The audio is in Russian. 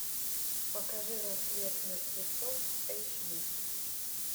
покажи рассвет мертвецов эйч ди